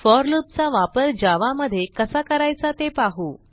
four loop चा वापर Java मध्ये कसा करायचा ते पाहू